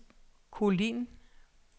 Kolind